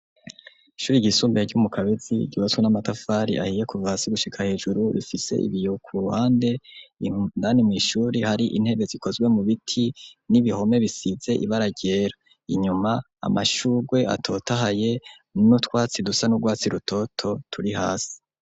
Ishuri igisumbeye ry'umu kabezi gibatso n'amatafari ahiye kuvasi gushika hejuru rifise ibiyeho ku ruhande ihundani mu ishuri hari intebe zikozwe mu biti n'ibihome bisize ibaragera inyuma amashugwe atota ahaye n'utwatsi dusa n'urwatsi rutoto turi hasi.